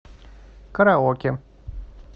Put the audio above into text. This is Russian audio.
караоке